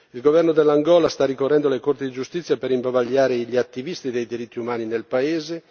Il governo dell'Angola sta ricorrendo alle corti di giustizia per imbavagliare gli attivisti dei diritti umani nel paese.